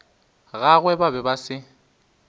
gagwe ba be ba se